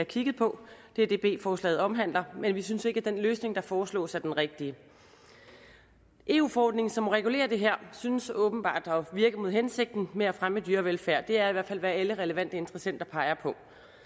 kigget på det er det b forslaget omhandler men vi synes ikke den løsning der foreslås er den rigtige eu forordningen som regulerer det her synes åbenbart at virke mod hensigten med at fremme dyrevelfærd det er i hvert fald hvad alle relevante interessenter peger på